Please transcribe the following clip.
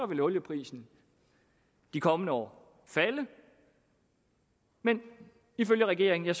vil olieprisen de kommende år falde men ifølge regeringen